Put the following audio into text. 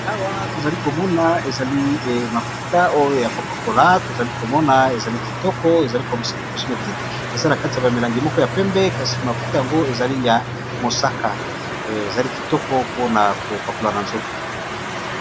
Awa tozali komona ezali mafuta oyo ya kopakola tozali komona ezali kitoko ezali cosmetique eza na kati ya bamilangi moko ya pembe kasi mafuta yango ezali ya mosaka ezali kitoko mpona kopakola na nzoto.